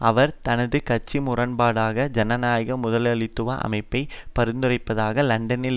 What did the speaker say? அவர் தனது கட்சி முரண்பாடற்ற ஜனநாயக முதலாளித்துவ அமைப்பை பரிந்துரைப்பதாக லண்டனில்